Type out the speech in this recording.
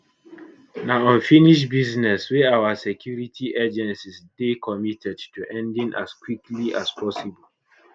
na unfinished business wey our security agencies dey committed to ending as quickly as possible